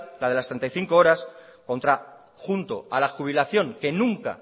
la de las treinta y cinco horas junto a la jubilación que nunca